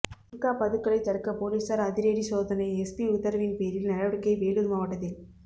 குட்கா பதுக்கலை தடுக்க போலீசார் அதிரடி சோதனை எஸ்பி உத்தரவின் பேரில் நடவடிக்கை வேலூர் மாவட்டத்தில்